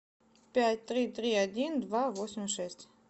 пять три три один два восемь шесть